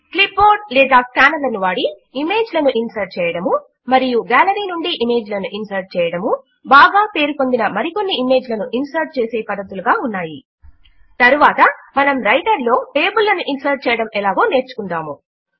clip board లేదా scanner లను వాడి ఇమేజ్ లను ఇన్సర్ట్ చేయడము మరియు గాలరీ నుండి ఇమేజ్ లను ఇన్సర్ట్ చేయడము బాగా పేరు పొందిన మరికొన్ని ఇమేజ్ లను ఇన్సర్ట్ చేసే పద్ధతులుగా ఉన్నాయి తరువాత మనము రైటర్ లో టేబుల్ లను ఇన్సర్ట్ చేయడము ఎలాగో నేర్చుకుందాము